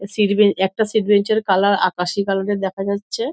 Seat bench একটা seat bench -এর colour আকাশি কালার -এ দেখা যাচ্ছে।